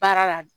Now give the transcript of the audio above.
Baara la